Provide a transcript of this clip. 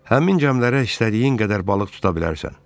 Həmin gəmilərə istədiyin qədər balıq tuta bilərsən.